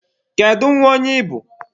Kedu nwa onye ị bụ?